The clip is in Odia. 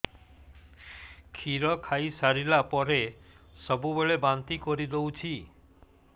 କ୍ଷୀର ଖାଇସାରିଲା ପରେ ସବୁବେଳେ ବାନ୍ତି କରିଦେଉଛି